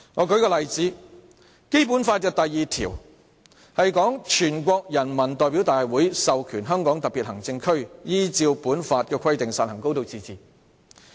舉例說，《基本法》第二條訂明："全國人民代表大會授權香港特別行政區依照本法的規定實行高度自治"。